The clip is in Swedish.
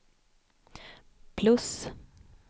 plus